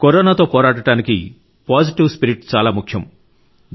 కరోనాతో పోరాడటానికి positive spirit చాలా ముఖ్యం